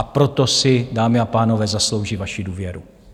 A proto si, dámy a pánové, zaslouží vaši důvěru.